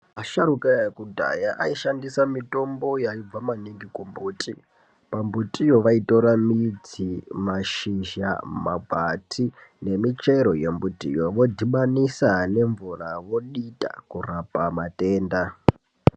Asharuka ekudhaya aishandisa mitombo yaibva maningi kumbuti, pambutiyo vaitora mashizha, makwati nemichero yomutiyo vondobanisa nemvura vodita kurapa matenda.